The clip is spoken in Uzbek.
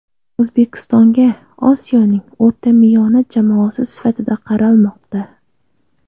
O‘zbekistonga Osiyoning o‘rtamiyona jamoasi sifatida qaralmoqda.